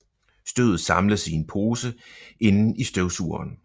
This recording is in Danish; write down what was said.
Støvet samles i en pose inden i støvsugeren